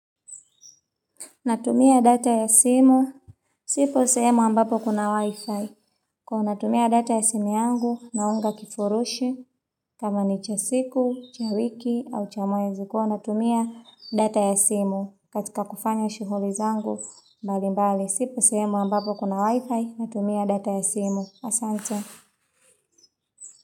Natumia data ya simu. Sipo semu ambapo kuna wifi. Kwa natumia data ya simu yangu, naunga kifurushi, kama ni cha siku, cha wiki, au cha mwezi ko, natumia data ya simu. Katika kufanya shughuli zangu, mbali mbali. Sipo semu ambapo kuna wifi. Natumia data ya simu. Asante.